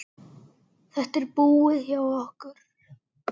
Þetta er búið hjá okkur!